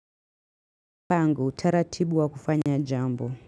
Pangu, taratibu wa kufanya jambo.